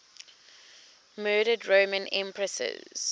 murdered roman empresses